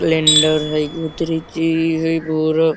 lander हई --